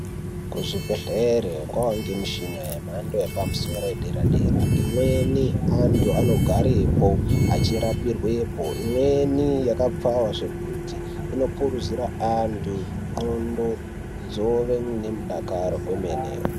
Kuzvibhedhlera kwakuonekwa mishina yemhando yepamusoro yedera dera imweni antu anogarapo achirapirwapo imweni yakapfawa zvekuti inopuruzira antu ngondlo dzova nerudakaro kwemene.